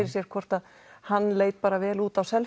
sér hvort hann leit bara vel út á